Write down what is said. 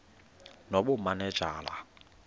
nobumanejala